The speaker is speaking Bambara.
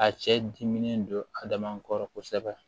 A cɛ diminen don adama kɔrɔ kosɛbɛ